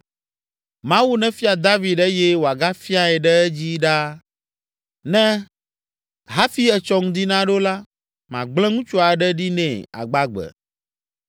Mawu nefia David eye wòagafiae ɖe edzi ɖaa ne hafi etsɔ ŋdi naɖo la, magblẽ ŋutsu aɖe ɖi nɛ agbagbe!”